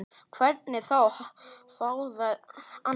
Hvernig þá, hváði Anna.